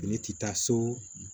Ne tɛ taa so